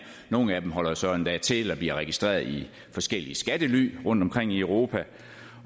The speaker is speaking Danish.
nogle af dem holder så endda til eller bliver registreret i forskellige skattely rundtomkring i europa